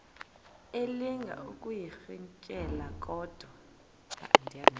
elinga ukuyirintyela kodwa